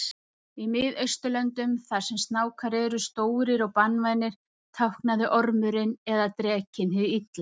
Í Miðausturlöndum þar sem snákar eru stórir og banvænir táknaði ormurinn eða drekinn hið illa.